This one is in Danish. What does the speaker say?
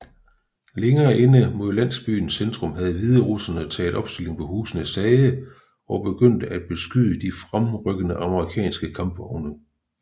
Længere inde mod landsbyens centrum havde hviderussere taget opstilling på husenes tage og begyndte at beskyde de fremrykkende amerikanske kampvogne